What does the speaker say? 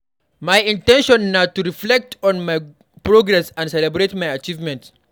My in ten tion na to reflect on my progress and celebrate my achievements.